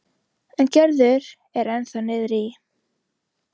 En Gerður er ennþá niðri í